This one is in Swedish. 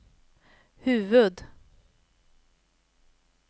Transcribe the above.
huvud-